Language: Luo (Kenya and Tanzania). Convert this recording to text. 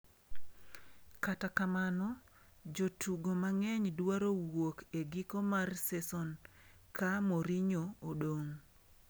Kata kamano, jotugo mang’eny dwaro wuok e giko mar seson ka Mourinho odong’.